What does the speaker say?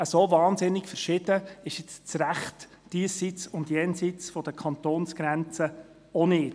So unglaublich verschieden ist das Recht diesseits und jenseits der Kantonsgrenze auch nicht.